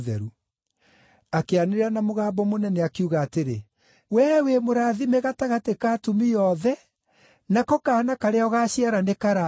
Akĩanĩrĩra na mũgambo mũnene, akiuga atĩrĩ, “Wee wĩ mũrathime gatagatĩ ka atumia othe, nako kaana karĩa ũgaaciara nĩkarathime!